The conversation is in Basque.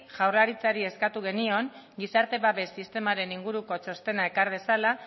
jaurlaritzari eskatu genion gizarte babes sistemaren inguruko txostena ekar dezala